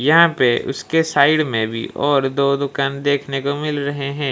यहां पे उसके साइड में भी और दो दुकान देखने को मिल रहे हैं।